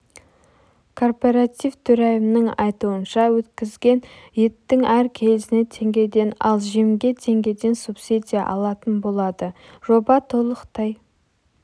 кооператив төрайымының айтуынша өткізген еттің әр келісіне теңгеден ал жемге теңгеден субсидия алатын болады жоба толықтай